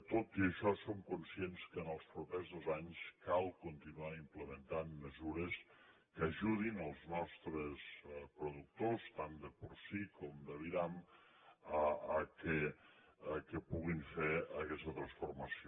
tot i això som conscients que en els propers dos anys cal continuar implementant mesures que ajudin els nostres productors tant de porcí com d’aviram perquè puguin fer aquesta transformació